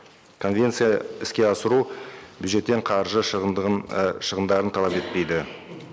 конвенция іске асыру бюджеттен қаржы і шығымдарын талап етпейді